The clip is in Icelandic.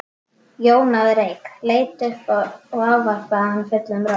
Jón náði reyk, leit upp og ávarpaði hann fullum rómi.